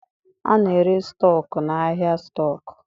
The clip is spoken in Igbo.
A na-ere stọku n'ahịa stọkụ.